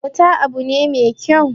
abota abu ne me kyau